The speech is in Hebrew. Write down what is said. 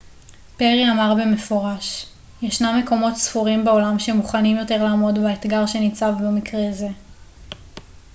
פרי אמר במפורש ישנם מקומות ספורים בעולם שמוכנים יותר לעמוד באתגר שניצב במקרה זה